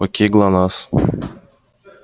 окей глонассс